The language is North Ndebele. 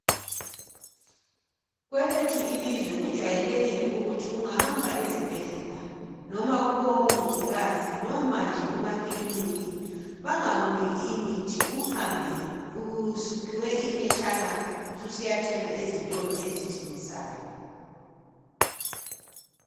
Kwelethu ilizwe kujwayelekile ukuthi ungahamba ezibhedlela noma kubomongikazi noma nje kumakiliniki bangakuniki imithi uhambe usuphiwe iphetshana usiyathenga ezitolo ezithengisayo.